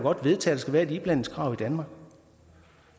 vedtages at være en iblandingskrav i danmark